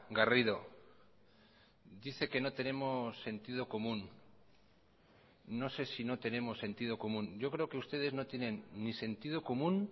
garrido dice que no tenemos sentido común no sé si no tenemos sentido común yo creo que ustedes no tienen ni sentido común